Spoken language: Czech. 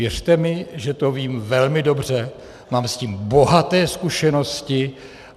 Věřte mi, že to vím velmi dobře, mám s tím bohaté zkušenosti.